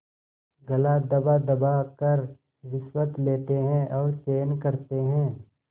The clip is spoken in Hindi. गला दबादबा कर रिश्वतें लेते हैं और चैन करते हैं